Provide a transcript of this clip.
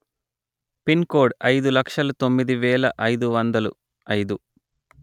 pin code అయిదు లక్షలు తొమ్మిది వేల వందలు అయిదు